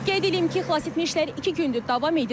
Qeyd eləyim ki, xilasetmə işləri iki gündür davam edir.